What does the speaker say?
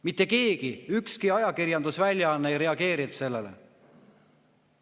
Mitte keegi, ükski ajakirjandusväljaanne ei reageerinud sellele.